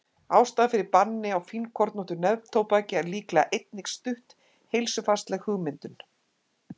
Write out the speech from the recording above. ástæðan fyrir banni á fínkornóttu neftóbaki er líklega einnig stutt heilsufarslegum hugmyndum